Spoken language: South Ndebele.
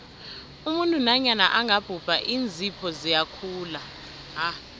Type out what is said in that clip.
umuntu nanyana angabhubha iinzipho ziyakhula